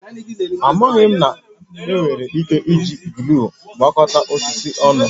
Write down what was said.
Amaghị m na ị nwere ike iji gluu gbakọta osisi ọnụ